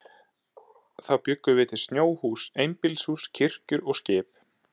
Þá bjuggum við til snjóhús, einbýlishús, kirkjur og skip.